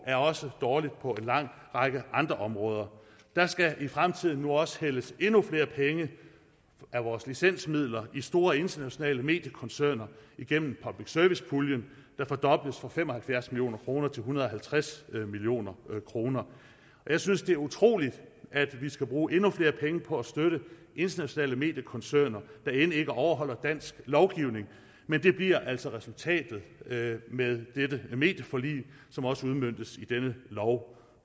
er også dårlige på en lang række andre områder der skal i fremtiden nu også hældes endnu flere penge af vores licensmidler i store internationale mediekoncerner igennem public service puljen der fordobles fra fem og halvfjerds million kroner til en hundrede og halvtreds million kroner jeg synes at det er utroligt at vi skal bruge endnu flere penge på at støtte internationale mediekoncerner der end ikke overholder dansk lovgivning men det bliver altså resultatet med med dette medieforlig som også udmøntes med denne lov